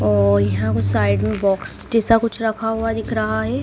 और यहां कुछ साइड में बॉक्स जैसा कुछ रखा हुआ दिख रहा है।